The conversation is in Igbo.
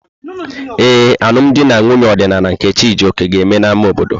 Ee, alụm di na nwunye ọdịnala nke Chijioke ga-eme n'ámá obodo.